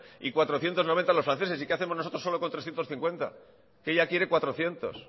y cuatrocientos noventa los franceses y qué hacemos nosotros solo con trescientos cincuenta que ella quiere cuatrocientos